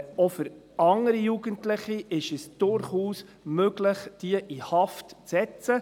Auch für andere Jugendliche gilt, dass es durchaus möglich ist, diese in Haft zu setzen.